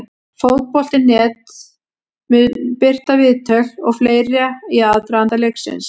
Fótbolti.net mun birta viðtöl og fleira í aðdraganda leiksins.